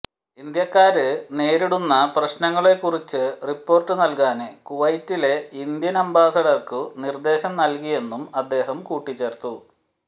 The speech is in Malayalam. ഇന്ത്യക്കാര് നേരിടുന്ന പ്രശ്നങ്ങളെക്കുറിച്ചു റിപ്പോര്ട്ട് നല്കാന് കുവൈറ്റിലെ ഇന്ത്യന് അംബാസഡര്ക്കു നിര്ദേശം നല്കിയെന്നും അദ്ദേഹം കൂട്ടിച്ചേര്ത്തു